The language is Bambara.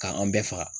K'an bɛɛ faga